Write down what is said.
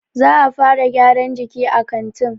Za'a fara gyaran jiki a kantin.